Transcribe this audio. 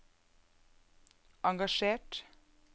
engasjert